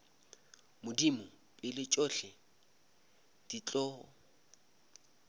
modimo pele tšohle di tlo